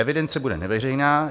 Evidence bude neveřejná.